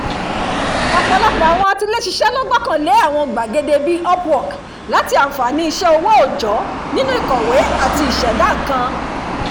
ọ̀pọ̀lọpọ̀ àwọn atiléṣisẹ́ ló gbọ́kànlé àwọn gbàgede bí i upwork láti àǹfààní iṣẹ́ owó òòjọ́ nínú ìkọ̀wé àti ìṣẹ̀dá nǹkan